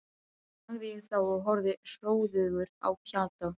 sagði ég þá og horfði hróðugur á Pjatta.